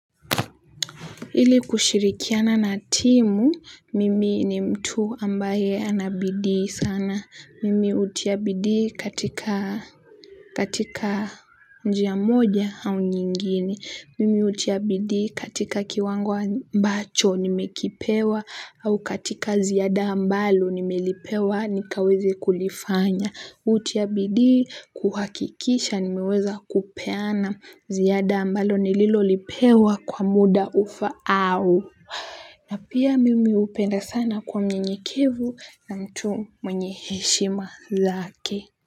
Ili kushirikiana na timu mimi ni mtu ambaye ana bidii sana mimi hutia bidii katika katika njia moja au nyingine mimi hutia bidii katika kiwango ambacho nimekipewa au katika ziada ambalo nimelipewa nikaweze kulifanya hutia bidii kuhakikisha nimeweza kupeana ziada ambalo nililolipewa kwa muda ufaao. Na pia mimi hupenda sana kuwa mnyenyekevu na mtu mwenye heshima zake.